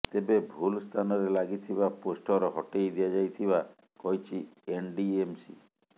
ତେବେ ଭୁଲ ସ୍ଥାନରେ ଲାଗିଥିବା ପୋଷ୍ଟର ହଟେଇ ଦିଆଯାଇଥିବା କହିଛି ଏନଡିଏମସି